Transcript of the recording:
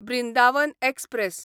Brindavan express